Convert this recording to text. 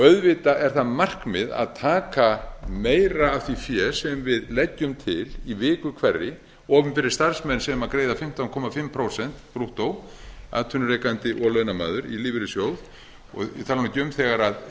auðvitað er það markmið að taka meira af því fé sem við leggjum til í viku hverri opinberir starfsmenn sem greiða fimmtán og hálft prósent brúttó atvinnurekandi og launamaður í lífeyrissjóð ég tala nú